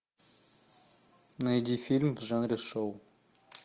найди фильм в жанре шоу